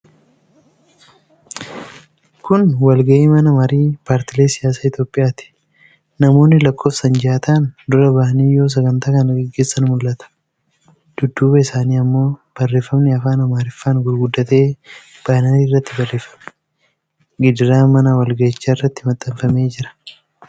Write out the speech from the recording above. Kun walgahii mana marii paartilee siyaasaa Itoophiyaati. Namoonni lakkoofsaan jaha ta'an dura bahanii yoo sagantaa kana gaggeessan mul'ata. dudduuba isaaniii ammoo barreefami afaan Amaariffaan gurguddatee banarii irratti barreeffamee gidaara mana walgahiichaatti maxxanfamee argama.